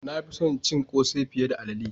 Na fi son cin kose fiye da alalle.